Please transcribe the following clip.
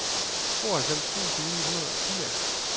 tooghalvfems tusind ni hundrede og firs